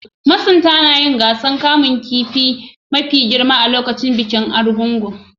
Masunta na yin gasan kaman kifin mafi girma a'lokacin bikin kaman kifin Argungu.